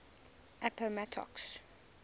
appomattox